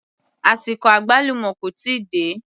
Àsìkò àgbálùmọ́ kò tíì dé